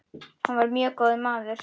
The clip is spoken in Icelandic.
Hann var mjög góður maður.